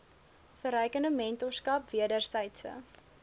verrykende mentorskap wedersydse